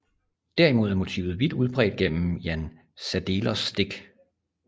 Derimod er motivet vidt udbredt gennem Jan Sadelers stik